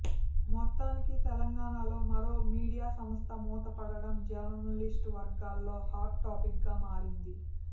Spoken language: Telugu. మొత్తానికి తెలంగాణాలో మరో మీడియా సంస్థ మూడపడడం జర్నలిస్టు వర్గాల్లో హాట్ టాపిక్ గా మారింది